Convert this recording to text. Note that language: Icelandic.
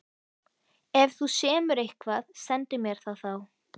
Ef þú semur eitthvað, sendu mér það þá.